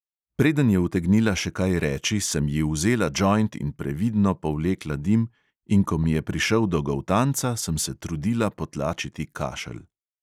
Preden je utegnila še kaj reči, sem ji vzela džoint in previdno povlekla dim, in ko mi je prišel do goltanca, sem se trudila potlačiti kašelj.